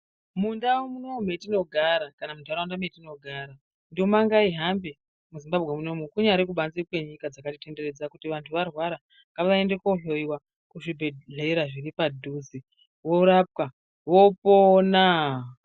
Mundau munomu metinogara kana munharaunda munomu metinogara nduma ngaihambe muZimbabwe munomu. Kunyari kubanze kwenyika dzakatitenderedza kuti kana vantu varwara ngavaende koohloiwa kuzvibhendlera zviri padhuze. Vorapwa, vopona.